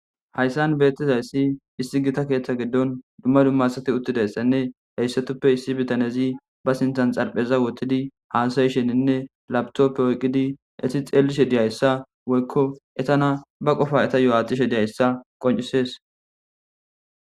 Haysan beetizaysi issi Gita keetha gidon duma duma asati uthidaysane haysatupe issi bitanezi ba sintan xarpheza wothidi haasa'ishenine laptope oyqidi xeelishe dizaysa woyko eetana ba qofa wetayo aatishe dizaysa qoncises.